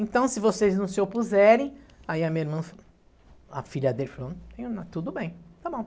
Então, se vocês não se opuserem, aí a minha irmã falou, a filha dele falou, tudo bem, está bom.